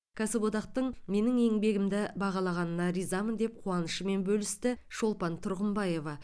кәсіподақтың менің еңбегімді бағалағанына ризамын деп қуанышымен бөлісті шолпан тұрғымбаева